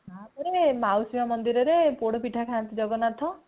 ତାପରେ ମାଉସୀ ମାଁ ମନ୍ଦିର ରେ ପୋଡା ପିଠା ଖାନ୍ତି ଜଗନ୍ନାଥ